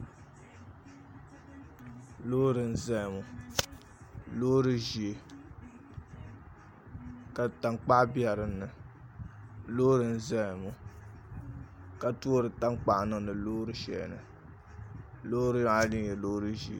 Loori n ʒɛya ŋo loori ʒiɛ ka tankpaɣu bɛ dinni loori n ʒɛya ŋo ka toori tankpaɣu n niŋdi loori shɛli ni loori maa nyɛla loori ʒiɛ